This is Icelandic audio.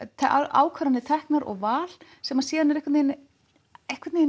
ákvarðanir teknar og val sem síðan er